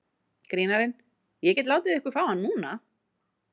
Grínarinn: Ég get látið ykkur fá hann núna.